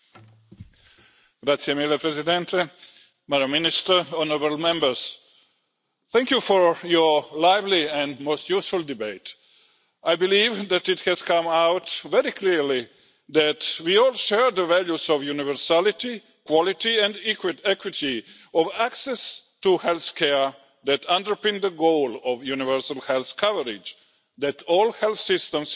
Mr President, Madam Minister, honourable Members, thank you for your lively and most useful debate. I believe that it has come out very clearly that we all share the values of universality, quality and equity of access to health care that underpin the goal of universal health coverage and that all health systems in the European Union